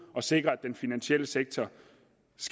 at sikre at den finansielle sektor